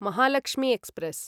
Mahalakshmi express